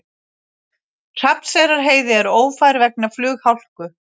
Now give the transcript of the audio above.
Hrafnseyrarheiði er ófær vegna flughálku